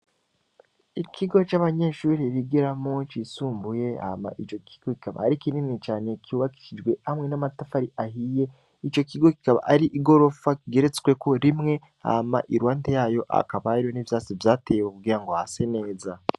Ikigo c'abanyeshuri rigera munci isumbuye ama ico kigo kikaba ari kinini cane kyubakijwe hamwe n'amatafari ahiye ico kigo kikaba ari i gorofa kigeretsweko rimwe ama i lwante yayo akabare n'ivyase vyateyewe ubugira ngo ha se neza.